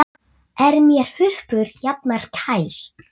Er mér huppur jafnan kær.